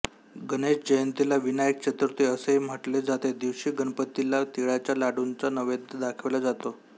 गणेश जयंतीला विनायक चतुर्थी असेही म्हटले जाते दिवशी गणपतीला तिळाच्या लाडूंचा नैवेद्य दाखविला जातो